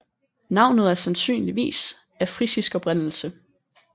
Navnet er sandsynligvis af frisisk oprindelse